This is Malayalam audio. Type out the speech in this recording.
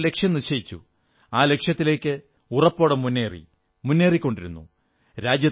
അദ്ദേഹം ഒരു ലക്ഷ്യം നിശ്ചയിച്ചു ആ ലക്ഷ്യത്തിലേക്ക് ഉറപ്പോടെ മുന്നേറി മുന്നേറിക്കൊണ്ടിരുന്നു